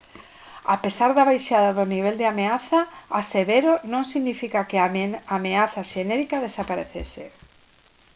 a pesar da baixada do nivel de ameaza a severo non significa que a ameaza xenérica desaparecese»